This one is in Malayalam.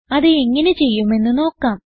അത് എങ്ങനെ ചെയ്യുമെന്ന് നോക്കാം